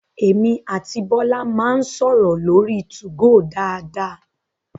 Emi àti Bọ́lá máa ń sọ̀rọ̀ lórí 2go dáadáa